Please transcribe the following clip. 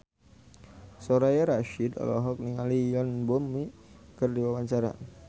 Soraya Rasyid olohok ningali Yoon Bomi keur diwawancara